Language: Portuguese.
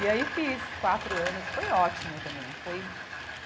E aí fiz quatro anos, foi ótimo também. Foi